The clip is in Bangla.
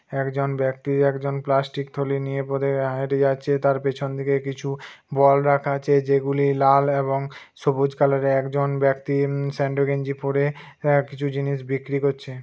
একজন ব্যক্তি একজন প্লাষ্টিক থলি নিয়ে পদে আ হেটে যাচ্ছে তার পেছন দিকে কিছু বল রাখা আছে যেগুলো লাল এবং সবুজ কালারের একজন ব্যক্তি স্যান্ডো গেঞ্জি পরে কিছু জিনিস বিক্রি করছে।